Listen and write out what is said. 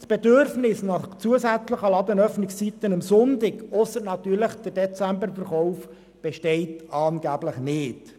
Das Bedürfnis nach zusätzlichen Ladenöffnungszeiten am Sonntag – ausser natürlich beim Dezemberverkauf – besteht angeblich nicht.